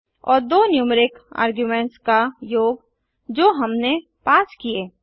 और दो numeric arguments का योग जो हमने पास किए